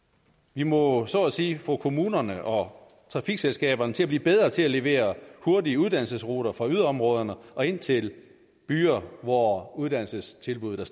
vi må så at sige få kommunerne og trafikselskaberne til at blive bedre til at levere hurtige uddannelsesruter fra yderområderne og ind til byer hvor uddannelsestilbuddene